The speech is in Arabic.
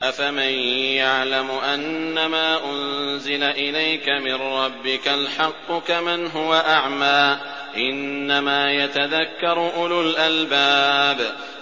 ۞ أَفَمَن يَعْلَمُ أَنَّمَا أُنزِلَ إِلَيْكَ مِن رَّبِّكَ الْحَقُّ كَمَنْ هُوَ أَعْمَىٰ ۚ إِنَّمَا يَتَذَكَّرُ أُولُو الْأَلْبَابِ